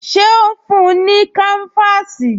Ṣé ó ń fún-un ní káńfáàsì?